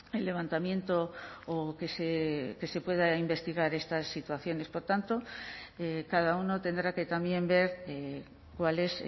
el levantamiento o que se puedan investigar estas situaciones por tanto cada uno tendrá que también ver cuál es